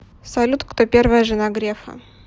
салют кто первая жена грефа